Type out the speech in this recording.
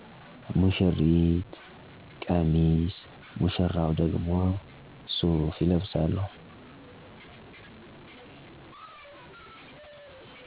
ሙሺሪት ቀሚስ ሙሺራው ደግሞ ሱፍ ይለብሳሉ።